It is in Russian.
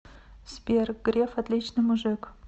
сбер греф отличный мужик